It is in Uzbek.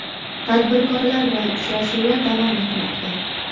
Tadbirkorlar bilan uchrashuvlar davom etmoqda.